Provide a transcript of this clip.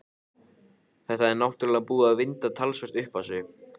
Þetta er náttúrlega búið að vinda talsvert upp á sig.